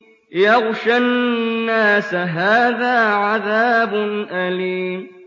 يَغْشَى النَّاسَ ۖ هَٰذَا عَذَابٌ أَلِيمٌ